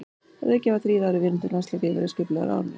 Að auki hafa þrír aðrir vináttulandsleikir verið skipulagðir á árinu.